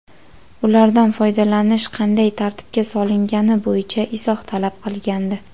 ulardan foydalanish qanday tartibga solingani bo‘yicha izoh talab qilgandi.